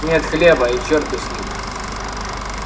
нет хлеба и чёрт бы с ним